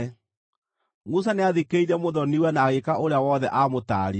Musa nĩathikĩrĩirie mũthoni-we na agĩĩka ũrĩa wothe aamũtaarire.